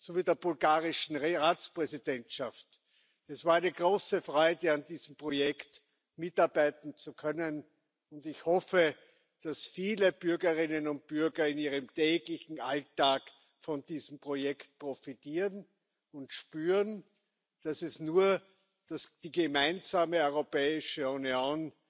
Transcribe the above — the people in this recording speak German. sowie der bulgarischen Ratspräsidentschaft. Es war eine große Freude, an diesem Projekt mitarbeiten zu können, und ich hoffe, dass viele Bürgerinnen und Bürger in ihrem täglichen Alltag von diesem Projekt profitieren und spüren, dass es nur die gemeinsame Europäische Union